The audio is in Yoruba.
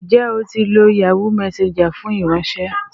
Njẹ o ti lo Yahoo Messenger fun ifiranṣẹ